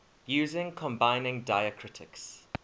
using combining diacritics